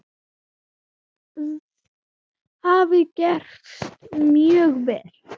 Þetta hafi gefist mjög vel.